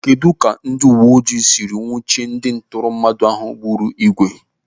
Kedụ ka ndị uwe ojii siri nwuchie ndị ntọrọmmadụ ahụ gburu igwe?